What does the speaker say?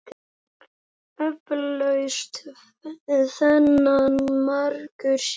Eflaust þennan margur sér.